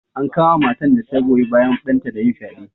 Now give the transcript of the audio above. An kama matan da ta goyi bayan ɗanta da yin fyaɗe.